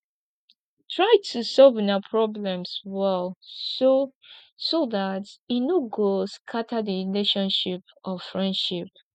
try to solve una problems well so so dat e no go scatter di relationship or friendship